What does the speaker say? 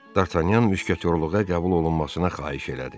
D'Artagnan müşketyorluğa qəbul olunmasına xahiş elədi.